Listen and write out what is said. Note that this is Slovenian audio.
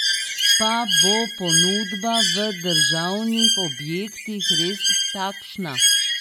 Pa bo ponudba v državnih objektih res takšna?